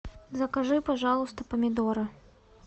закажи пожалуйста помидоры